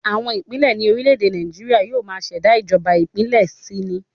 Àwọn ìpínlẹ̀ ní orílẹ̀ èdè Nàìjíríà yóò máa ṣẹ̀dá ìjọba ìbílẹ̀ si ni